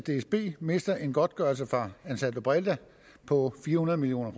dsb mister en godtgørelse fra ansaldobreda på fire hundrede million